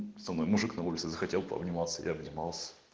со мной мужик на улице захотел пообниматься я обнимался